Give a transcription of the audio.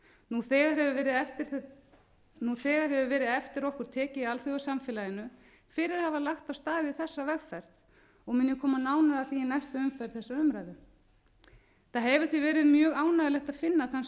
öll þessi hugtök og stefna nú þegar hefur verið eftir okkur tekið í alþjóðasamfélaginu fyrir að hafa lagt af stað í þessa vegferð og mun ég koma nánar að því í næstu umferð þessarar umræðu það hefur því verið mjög ánægjulegt að finna þann